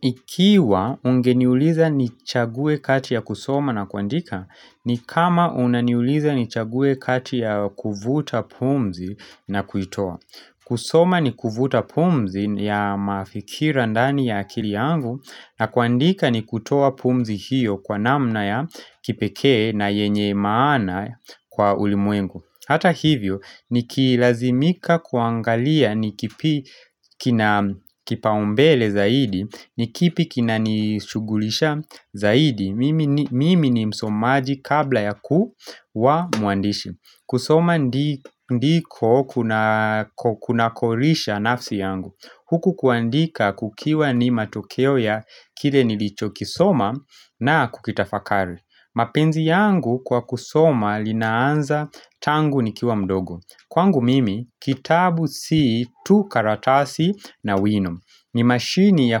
Ikiwa ungeniuliza nichague kati ya kusoma na kuandika, ni kama unaniuliza nichague kati ya kuvuta pumzi na kuitoa. Kusoma ni kuvuta pumzi ya mafikira ndani ya akili yangu na kuandika ni kutoa pumzi hiyo kwa namna ya kipekee na yenye maana kwa ulimwengu. Hata hivyo, nikilazimika kuangalia ni kipi kina kipaumbele zaidi, ni kipi kinanishughulisha zaidi Mimi ni msomaji kabla ya kuwa mwandishi kusoma ndiko kunako lisha nafsi yangu Huku kuandika kukiwa ni matokeo ya kile nilicho kisoma na kukitafakari mapenzi yangu kwa kusoma linaanza tangu nikiwa mdogo Kwangu mimi, kitabu si tu karatasi na wino ni mashini ya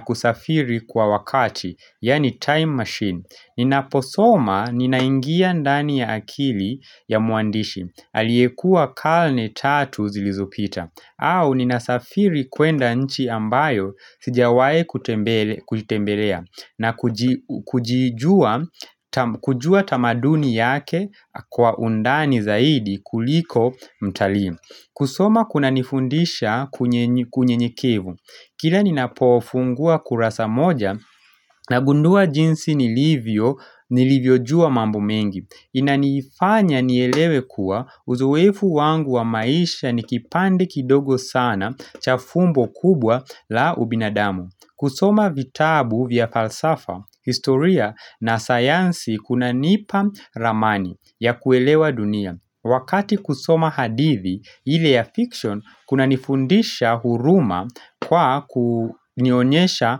kusafiri kwa wakati, yaani time machine Ninaposoma ninaingia ndani ya akili ya mwandishi Aliyekua karne tatu zilizopita au ninasafiri kwenda nchi ambayo sijawahi kuitembelea na kujua tamaduni yake kwa undani zaidi kuliko mtalii kusoma kunanifundisha kunyenyekevu Kila ninapo fungua kurasa moja nagundua jinsi nilivyo jua mambo mengi Inanifanya nielewe kuwa uzoefu wangu wa maisha ni kipande kidogo sana cha fumbo kubwa la ubinadamu kusoma vitabu vya falsafa, historia na sayansi kunanipa ramani ya kuelewa dunia. Wakati kusoma hadithi ile ya fiction, kunanifundisha huruma kwa kunionyesha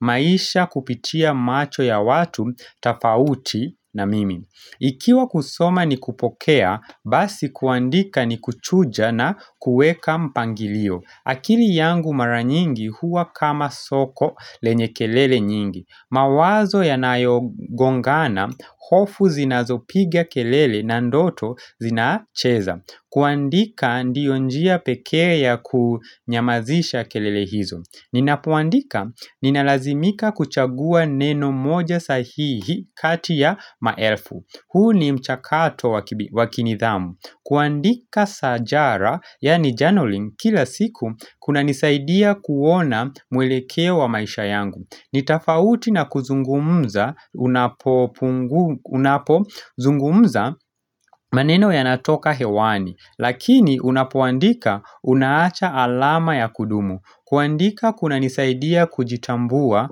maisha kupitia macho ya watu, tofauti na mimi. Ikiwa kusoma ni kupokea, basi kuandika ni kuchuja na kueka mpangilio. Akili yangu mara nyingi huwa kama soko lenye kelele nyingi mawazo yanayo gongana, hofu zinazopiga kelele na ndoto zinacheza kuandika ndiyo njia pekee ya kunyamazisha kelele hizo Ninapoandika, ninalazimika kuchagua neno moja sahihi kati ya maelfu huu ni mchakato wa kinidhamu kuandika sajara, yaani journaring, kila siku kunanisaidia kuona mwelekea wa maisha yangu ni tofauti na kuzungumza, unapo zungumza maneno yanatoka hewani Lakini unapoandika unaacha alama ya kudumu kuandika kunanisaidia kujitambua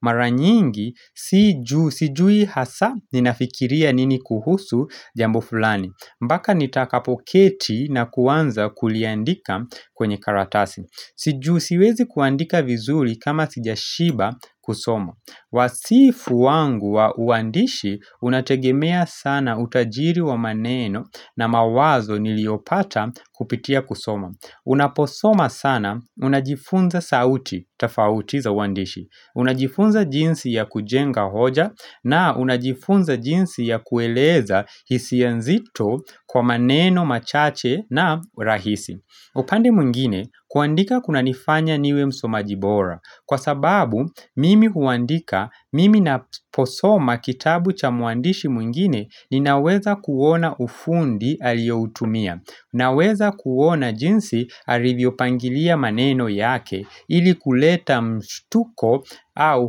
mara nyingi sijui hasa ninafikiria nini kuhusu jambo fulani mpaka nitakapo keti na kuanza kuliandika kwenye karatasi Si juu siwezi kuandika vizuri kama sijashiba kusomo Wasifu wangu wa uandishi unategemea sana utajiri wa maneno na mawazo niliopata kupitia kusomo Unaposoma sana unajifunza sauti tofauti za uandishi Unajifunza jinsi ya kujenga hoja na unajifunza jinsi ya kueleza hisia nzito kwa maneno machache na rahisi upande mwingine kuandika kunanifanya niwe msomaji bora Kwa sababu mimi huandika mimi napo soma kitabu cha mwandishi mwingine ninaweza kuona ufundi alioutumia naweza kuona jinsi alivyopangilia maneno yake ili kuleta mshtuko au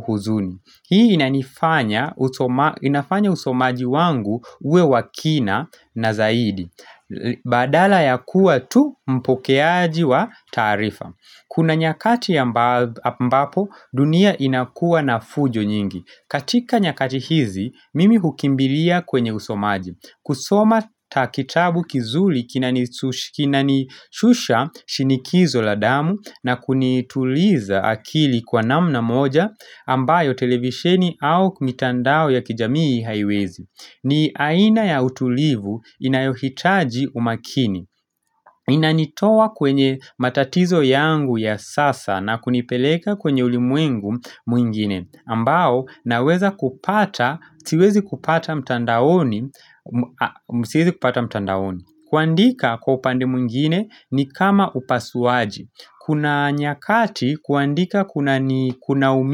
huzuni. Hii inafanya usomaji wangu uwe wa kina na zaidi. Badala ya kuwa tu mpokeaji wa taarifa. Kuna nyakati ambapo dunia inakuwa na fujo nyingi. Katika nyakati hizi, mimi hukimbilia kwenye usomaji. Kusoma ta kitabu kizuri kinanishusha shinikizo la damu na kunituliza akili kwa namna moja ambayo televisheni au mitandao ya kijamii haiwezi ni aina ya utulivu inayohitaji umakini Inanitoa kwenye matatizo yangu ya sasa na kunipeleka kwenye ulimwengu mwingine ambao naweza kupata, siwezi kupata mtandaoni kuandika kwa upande mwingine ni kama upasuaji Kuna nyakati kuandika kuna umi.